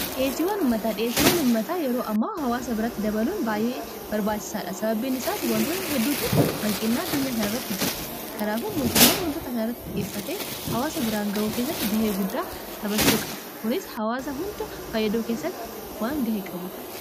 dhiyeesiiwwan ummataa dhiyeesiiwan ummataa yeroo ammaa hawaasa biratti dabaluun baay'ee barbaachisaadha. Sababiin isaas wantoota hedduutu hanqinnaa addunyaa kana irratti jira kanaafu mootumman wantoota kana irratti xiyyeeffate hawaasa biraan gahuu kessatti gahee guddaa taphachuu qaba kunis hawaasa hunda fayyaduu keessatti waan gahee qabuuf.